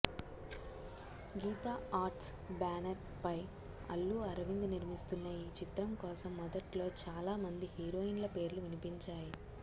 గీతా ఆర్ట్స్ బ్యానర్పై అల్లు అరవింద్ నిర్మిస్తున్న ఈ చిత్రం కోసం మొదట్లో చాలా మంది హీరోయిన్ల పేర్లు వినిపించాయి